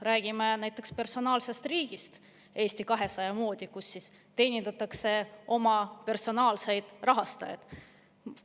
Räägime näiteks personaalsest riigist Eesti 200 moodi, kus siis teenindatakse oma personaalseid rahastajaid.